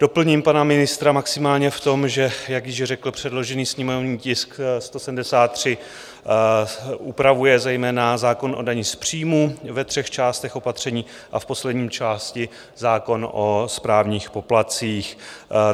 Doplním pana ministra maximálně v tom, že jak již řekl, předložený sněmovní tisk 173 upravuje zejména zákon o dani z příjmu ve třech částech opatření a v poslední části zákon o správních poplatcích.